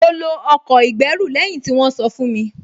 Mo lo ọkọ̀ ìgbẹ́rù lẹ́yìn tí wọ́n sọ fún mi